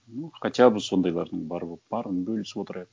ну хотя бы сондайлардың барып оқып барлығын бөлісіп отырайық